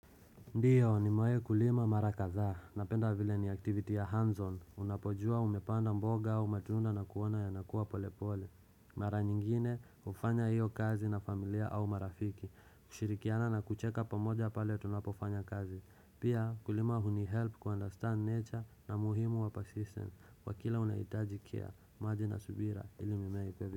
Ndiyo ni mawe kulima mara kadhaa na penda vile ni activity ya hands-on Unapojua umepanda mboga au matunda na kuona yanakuwa polepole Mara nyingine ufanya iyo kazi na familia au marafiki kushirikiana na kucheka pamoja pale tunapofanya kazi Pia kulima huni help kwa understand nature na muhimu wa persistent wakila unaitaji care, maji na subira ili mimei pevi.